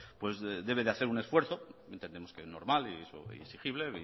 pues debe de hacer un esfuerzo entendemos que normal y exigible